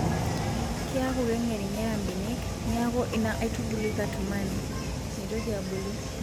Keeku keng'ering'era mbenek, neeku ina aitubului katumani metoki abulu.